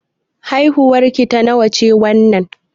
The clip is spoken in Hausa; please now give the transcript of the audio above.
Haihuwar ki ta nawa ce wannan?